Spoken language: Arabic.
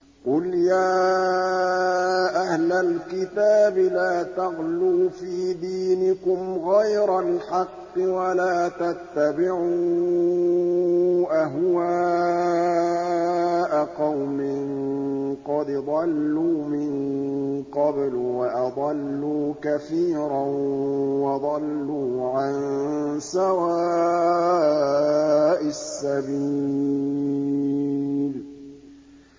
قُلْ يَا أَهْلَ الْكِتَابِ لَا تَغْلُوا فِي دِينِكُمْ غَيْرَ الْحَقِّ وَلَا تَتَّبِعُوا أَهْوَاءَ قَوْمٍ قَدْ ضَلُّوا مِن قَبْلُ وَأَضَلُّوا كَثِيرًا وَضَلُّوا عَن سَوَاءِ السَّبِيلِ